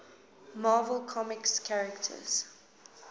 marvel comics characters